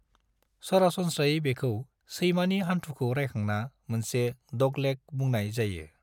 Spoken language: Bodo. सरासनस्रायै बेखौ सैमानि हान्थुखौ रायखांना मोनसे 'डगलेग' बुंनाय जायो।